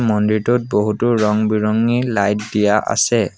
মন্দিৰটোত বহুতো ৰং বিৰঙী লাইট দিয়া আছে।